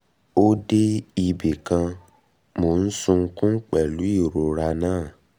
ó dé ibì kan mò ń sunkún pẹ̀lú ìrora náà um